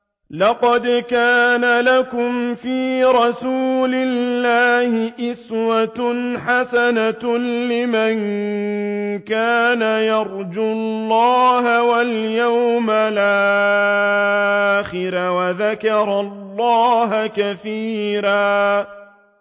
لَّقَدْ كَانَ لَكُمْ فِي رَسُولِ اللَّهِ أُسْوَةٌ حَسَنَةٌ لِّمَن كَانَ يَرْجُو اللَّهَ وَالْيَوْمَ الْآخِرَ وَذَكَرَ اللَّهَ كَثِيرًا